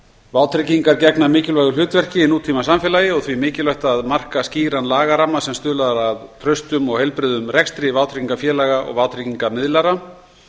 vátryggingar gegna mikilvægu hlutverki í nútímasamfélagi og því mikilvægt að marka skýran lagaramma sem stuðlar að traustum og heilbrigðum rekstri vátryggingafélaga og vátryggingamiðlara